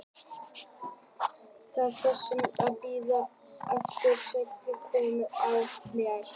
Ég sit á rúmstokknum og við bíðum eftir að sagan komi í hausinn á mér.